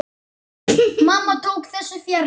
Mamma tók þessu fjarri.